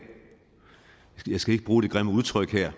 jeg skal ikke bruge det grimme udtryk her